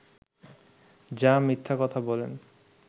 যা মিথ্যা কথা বলেন